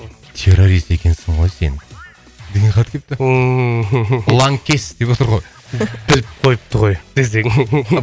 террорист екенсің ғой сен деген хат келіпті ланкес деп отыр ғой біліп қойыпты ғой десең